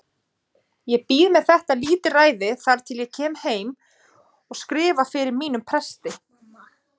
Ég bíð með þetta lítilræði þar til ég kem heim og skrifta fyrir mínum presti.